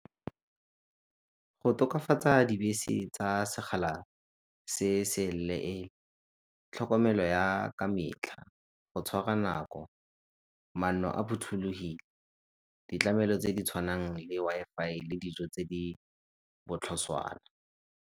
Go tokafatsa dibese tsa segala se se , tlhokomelo ya ka metlha, go tshwara nako, manno a phothulogile, ditlamelo tse di tshwanang le Wi-Fi le dijo tse di botlhoswana.